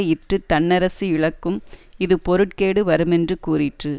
இற்றுத் தன்னரசு இழக்கும் இது பொருட்கேடு வருமென்று கூறிற்று